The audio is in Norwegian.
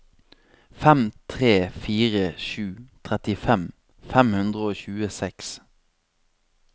fem tre fire sju trettifem fem hundre og tjueseks